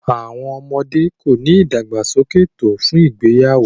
children are not developed enough for marriage